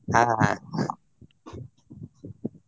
ಹಾ ಹಾ ಹಾ.